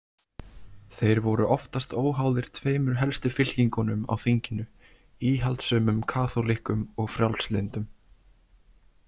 Þeir voru oftast óháðir tveimur helstu fylkingunum á þinginu, íhaldssömum kaþólikkum og frjálslyndum.